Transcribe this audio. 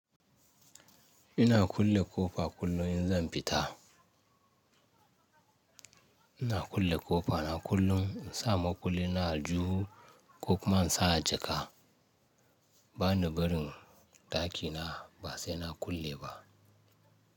Ina kulle ƙofa kullum in zan fita. Ina kulle kofana kullun, in sa makullina ajihu ko kuma in sa jaka ba ni barin dakina ba sai na kulle ba.